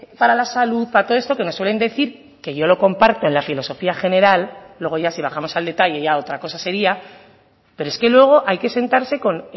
para la salud para todo esto que nos suelen decir que yo lo comparto en la filosofía general luego ya si bajamos al detalle ya otra cosa sería pero es que luego hay que sentarse con